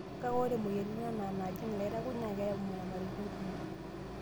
Kake ore moyiaritin anaa naajing' ilairakuj naa keyau nyamalaritin kumok.